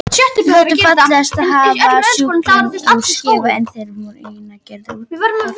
Það þótti fallegast að hafa skúfana úr silki en þeir voru einnig gerðir úr togþræði.